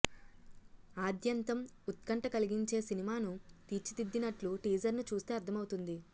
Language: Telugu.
ఆద్యంతం ఉత్కంఠ కలిగించే సినిమాను తీర్చిదిద్దినట్లు టీజర్ను చూస్తే అర్థమవుతోంది